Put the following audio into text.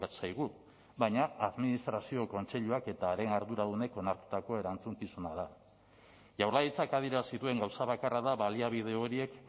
zaigu baina administrazio kontseiluak eta haren arduradunek onartutako erantzukizuna da jaurlaritzak adierazi duen gauza bakarra da baliabide horiek